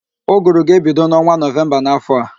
Ụgụrụ ga-ebido n'ọnwa Nọvemba n'áfọ̀ a